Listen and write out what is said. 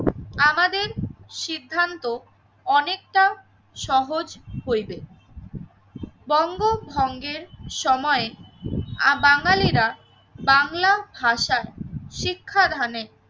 আমাদের সিদ্ধান্ত অনেকটা সহজ হইবে। বঙ্গভঙ্গের সময়ে আ বাঙালিরা বাংলা ভাষায় শিক্ষাদানে